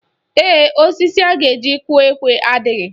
Ee, osisi a ga-eji kụọ ekwe a adịghị